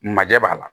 Majɛ b'a la